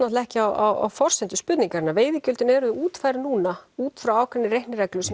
ekki á forsendu spurningarinnar veiðigjöldin eru útfærð núna útfrá ákveðinni reiknireglu sem